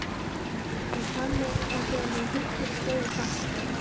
En þegar hann hitti, sló hann fast.